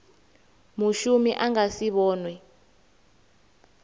mushumi a nga si vhonwe